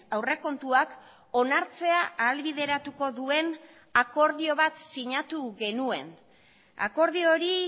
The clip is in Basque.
aurrekontuak onartzea ahalbideratuko duen akordio bat sinatu genuen akordio hori